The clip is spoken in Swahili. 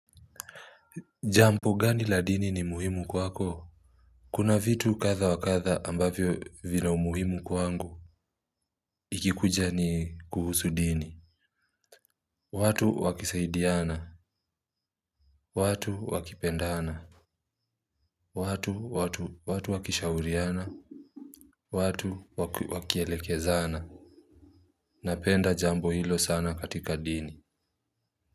Jambo gani la dini ni muhimu kwako? Kuna vitu kadha wa kadha ambavyo vina umuhimu kwangu. Ikikuja ni kuhusu dini. Watu wakisaidiana. Watu wakipendana. Watu wakishauriana. Watu wakielekezana. Napenda jambo hilo sana katika dini.